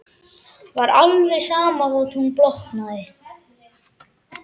Var alveg sama þótt hún blotnaði.